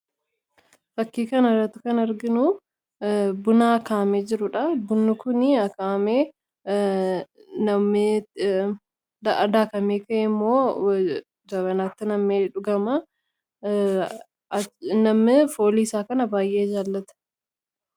Fakkii kanarratti kan arginu buna akaayamee jirudha. Bunni kun akaayamee nam'ee daakamee ka'eemmoo jabanaatti nam'ee dhugama. Namni fooliisaa kana baay'ee jaallata.